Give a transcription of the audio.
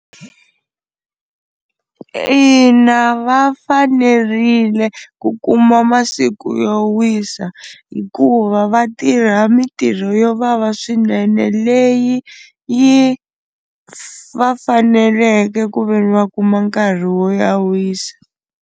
Ina va fanerile ku kuma masiku yo wisa hikuva va tirha mintirho yo vava swinene leyi yi va faneleke ku veni va kuma nkarhi wo ya wisa.